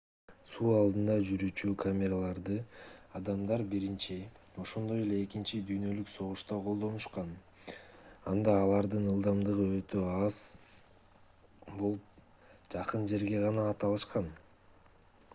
суу алдында жүрүүчү кемелерди адамдар биринчи ошондой эле экинчи дүйнөлүк согушта колдонушкан анда алардын ылдамдыгы өтө аз болуп жакын жерге гана ата алышкан